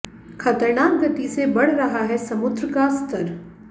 खतरनाक गति से बढ़ रहा है समुद्र का स्तर